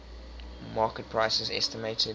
market prices estimated